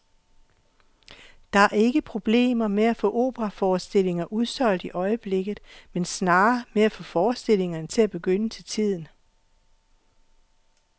Der er ikke problemer med at få operaforestillinger udsolgt i øjeblikket, men snarere med at få forestillingerne til at begynde til tiden.